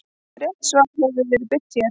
Rétt svar hefur nú verið birt hér.